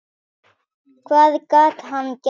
Hvað gat hann gert?